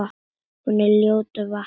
Hún er ljótur ávani.